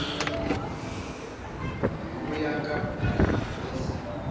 pelo ya ka e se